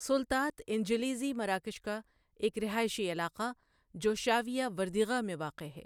سلطات إنجليزي مراکش کا ایک رہائشی علاقہ جو شاویہ وردیغہ میں واقع ہے۔